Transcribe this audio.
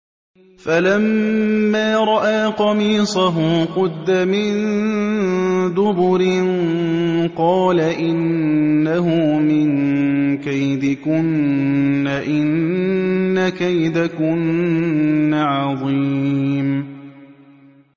فَلَمَّا رَأَىٰ قَمِيصَهُ قُدَّ مِن دُبُرٍ قَالَ إِنَّهُ مِن كَيْدِكُنَّ ۖ إِنَّ كَيْدَكُنَّ عَظِيمٌ